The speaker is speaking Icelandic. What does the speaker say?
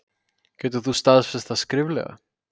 Getur þú staðfest það skriflega?